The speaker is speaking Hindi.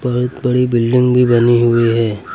बहुत बड़ी बिल्डिंग भी बनी हुई है।